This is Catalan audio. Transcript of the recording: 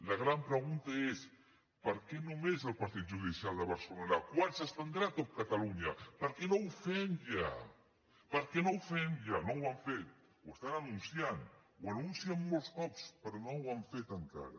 la gran pregunta és per què només al partit judicial de barcelona quan s’estendrà a tot catalunya per què no ho fem ja per què no ho fem ja no ho han fet ho estan anunciant ho anuncien molts cops però no ho han fet encara